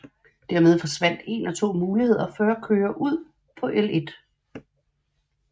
Dermed forsvandt én af 2 muligheder for at køre ud på Ll